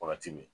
Wagati min